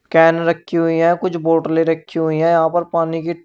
can रखी हुई हैं कुछ बोटले रखी हुई हैं यहां पर पानी की --